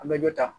An bɛ dɔ ta